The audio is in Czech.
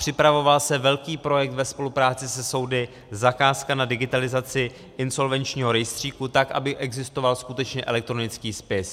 Připravoval se velký projekt ve spolupráci se soudy, zakázka na digitalizaci insolvenčního rejstříku, tak aby existoval skutečně elektronický spis.